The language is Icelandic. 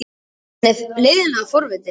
Hann er leiðinlega forvitinn.